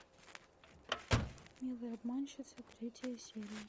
милые обманщицы третья серия